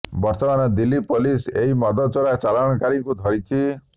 ବର୍ତ୍ତମାନ ଦିଲ୍ଲୀ ପୋଲିସ ଏହି ମଦ ଚୋରା ଚାଲାଣକାରୀଙ୍କୁ ଧରିଛି